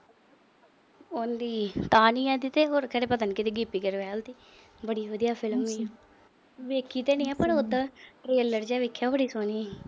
ਉਹਦੀ ਤਾਂ ਨੀ ਹੈਗੇ ਪਤਾ ਨੀ ਗਿੱਪੀ ਗਰੇਵਾਲ ਦੀ। ਬੜੀ ਵਧੀਆ film ਏ। ਵੇਖੀ ਤਾਂ ਈ ਐ ਪਰ ਉਦਾ trailer ਜਾ ਦੇਖਿਆ ਬੜੀ ਸੋਹਣੀ।